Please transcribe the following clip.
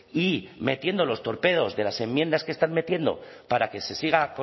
y metiendo los torpedos de las enmiendas que están metiendo para que se siga